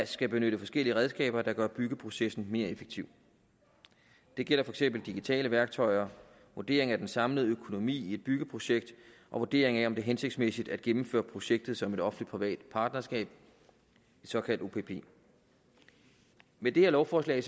skal benytte forskellige redskaber der gør byggeprocessen mere effektiv det gælder for eksempel digitale værktøjer vurderingen af den samlede økonomi i et byggeprojekt og vurderingen af om det er hensigtsmæssigt at gennemføre projektet som et offentlig privat partnerskab et såkaldt opp med det her lovforslag